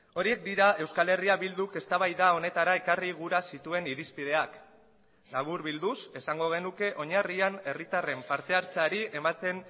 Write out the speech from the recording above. horiek dira euskal herria bilduk eztabaida honetara ekarri gura zituen irizpideak laburbilduz esango genuke oinarrian herritarren partehartzeari ematen